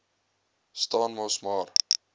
staan mos maar